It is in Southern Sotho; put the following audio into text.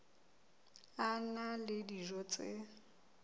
a na le dijo tse